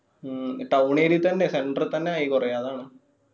ഉം town area തന്നെയാ centre തന്നെ ആയി കൊറേ അതാണ്.